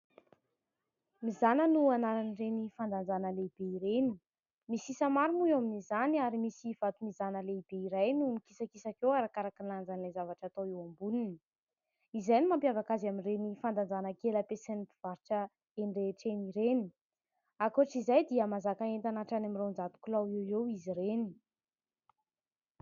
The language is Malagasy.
Mizàna no anaran'ireny fandanjana lehibe ireny, misy isa maro moa eo amin'izany ary misy vato mizàna lehibe iray noho mikisakisaka eo arakaraky ny lanjan'ilay zavatra atao eo amboniny. Izay no mampiavaka azy amin'ireny fandanjana kely ampiasain'ny mpivarotra eny rehetra eny ireny, ankoatr'izay dia mahazaka entana hatrany amin'ny roanjato kilao eo eo izy ireny.